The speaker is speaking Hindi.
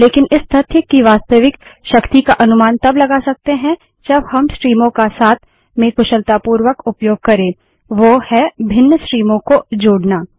लेकिन इस तथ्य की वास्तविक शक्ति का अनुमान तब लगा सकते हैं जब हम स्ट्रीमों का साथ में कुशलतापूर्वक उपयोग करें वो है भिन्न स्ट्रीमों को जोड़ना